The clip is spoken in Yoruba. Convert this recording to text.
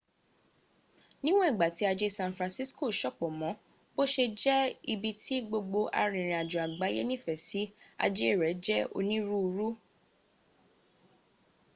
níwọn ìgbà tí aje san francisco sopọ mọ bó ṣe jẹ́ ibi ti gbogbo arìnrìnajo àgbáyẹ nífẹsí ajẹ́ rẹ jẹ́ oníruurú